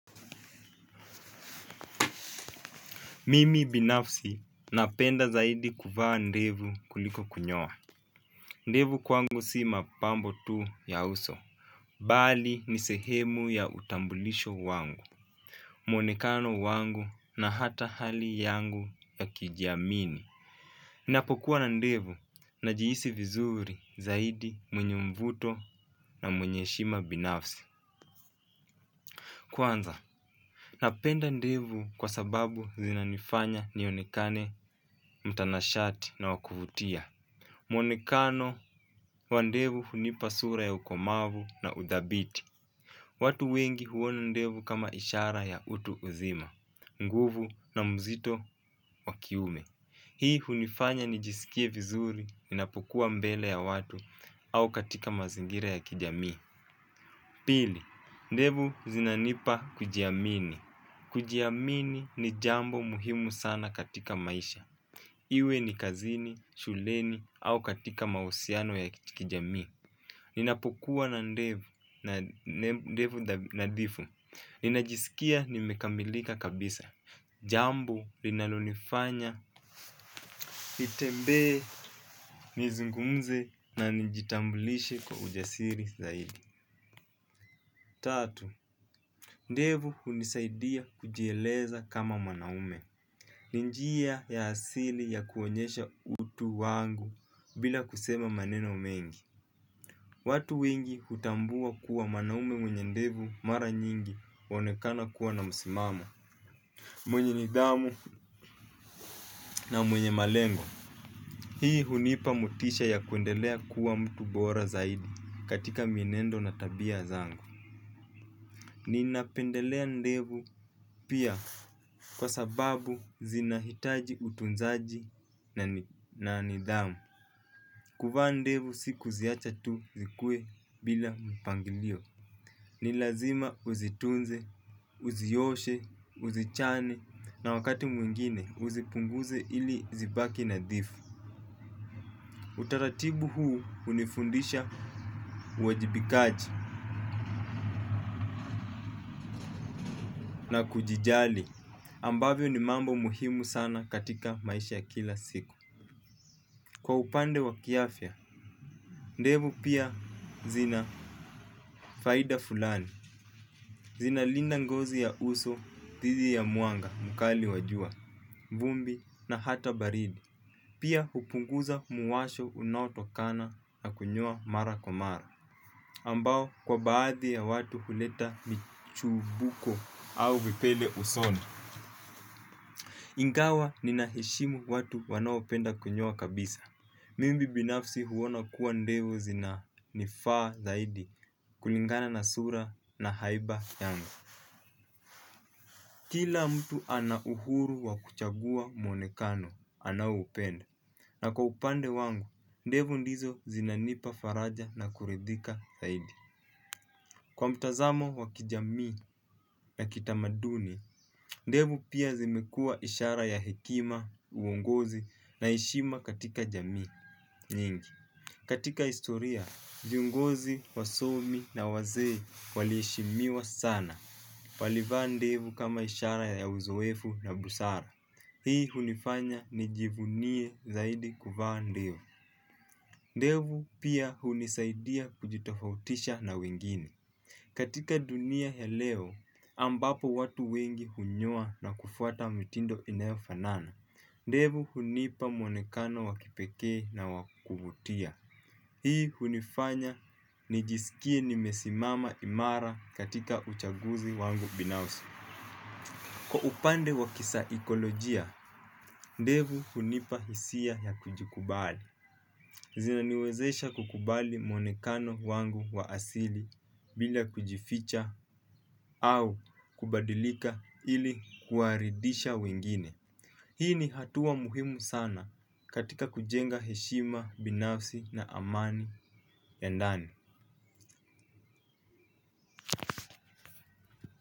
Mimi binafsi napenda zaidi kuvaa ndevu kuliko kunyoa ndevu kwangu si mapambo tu ya uso. Bali nisehemu ya utambulisho wangu. Mwonekano wangu na hata hali yangu ya kujiamini. Napokuwa na ndevu na jihisi vizuri zaidi, mwenye mvuto na mwenye heshima binafsi. Kwanza napenda ndevu kwa sababu zinanifanya nionekane mtanashati na wakuvutia. Mwonekano wa ndevu hunipa sura ya ukomavu na udhabiti. Watu wengi huona ndevu kama ishara ya utu uzima, nguvu na mzito wakiume. Hii hunifanya nijisikie vizuri, ninapukuwa mbele ya watu au katika mazingira ya kijamii. Pili, ndevu zinanipa kujiamini. Kujiamini ni jambo muhimu sana katika maisha. Iwe ni kazini, shuleni au katika mahusiano ya kijamii. Ninapukuwa na ndevu nadhifu. Ninajisikia nimekamilika kabisa. Jambo linalonifanya nitembee, nizungumze na nijitambulishe kwa ujasiri zaidi. Tatu, ndevu hunisaidia kujieleza kama mwanaume. Ninjia ya asili ya kuonyesha utu wangu bila kusema maneno mengi. Watu wengi hutambua kuwa mwanaume mwenye ndevu mara nyingi huonekana kuwa na msimamo. Mwenye nidhamu na mwenye malengo. Hii hunipa motisha ya kuendelea kuwa mtu bora zaidi katika mienendo na tabia zangu. Ninapendelea ndevu pia kwa sababu zinahitaji utunzaji na nidhamu. Kuvaa ndevu sikuziacha tu zikue bila mpangilio. Nilazima uzitunze, uzioshe, uzichane na wakati mwingine uzipunguze ili zibaki nadhifu. Utaratibu huu hunifundisha uwajibikaji na kujijali ambavyo ni mambo muhimu sana katika maisha ya kila siku. Kwa upande wa kiafya, ndevu pia zina faida fulani. Zinalinda ngozi ya uso, thidi ya mwanga, mkali wa jua, vumbi na hata baridi. Pia hupunguza muwasho unautokana na kunyoa mara kwa mara. Ambao kwa baadhi ya watu huleta michubuko au vipele usoni. Ingawa ninaheshimu watu wanaopenda kunyoa kabisa. Mimi binafsi huona kuwa ndevu zinanifaa zaidi kulingana na sura na haiba yangu. Kila mtu ana uhuru wa kuchagua mwonekano anao upenda. Na kwa upande wangu ndevu ndizo zinanipa faraja na kuridhika zaidi. Kwa mtazamo wa kijamii na kitamaduni, ndevu pia zimekuwa ishara ya hekima, uongozi na heshima katika jamii nyingi. Katika historia, viongozi, wasomi na wazee waliheshimiwa sana. Walivaa ndevu kama ishara ya uzoefu na busara. Hii hunifanya nijivunie zaidi kuvaa ndevu. Ndevu pia hunisaidia kujitofautisha na wengine. Katika dunia ya leo, ambapo watu wengi hunyoa na kufuata mitindo inayofanana. Ndevu hunipa mwonekano wakipekee na wakuvutia. Hii hunifanya ni jisikie nimesimama imara katika uchaguzi wangu binafsi. Kwa upande wa kisaikolojia, ndevu hunipa hisia ya kujikubali. Zinaniwezesha kukubali mwonekano wangu wa asili bila kujificha au kubadilika ili kuwaridisha wengine. Hii ni hatua muhimu sana katika kujenga heshima binafsi na amani ya ndani.